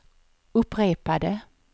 upprepade